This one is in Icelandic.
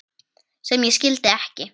sem ég skildi ekki